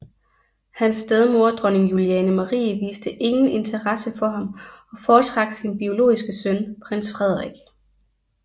Hans stedmor Dronning Juliane Marie viste ingen interesse for ham og foretrak sin biologiske søn prins Frederik